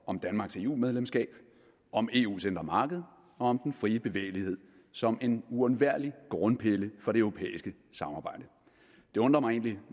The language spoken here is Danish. om danmarks eu medlemskab om eus indre marked og om den frie bevægelighed som en uundværlig grundpille for det europæiske samarbejde det undrer mig egentlig